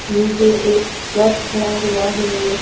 नीचे एक ट्रक खड़ा हुआ है।